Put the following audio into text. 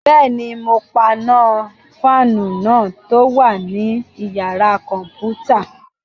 Bẹ́ẹ̀ni, mo paná fáànù náà tó wà ní yàrá-kọ̀mpútà